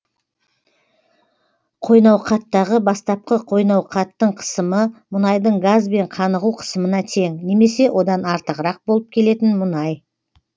қойнауқаттағы бастапқы қойнауқаттың қысымы мұнайдың газбен қанығу қысымына тең немесе одан артығырақ болып келетін мұнай